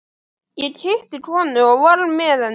Ég hitti konu og var með henni.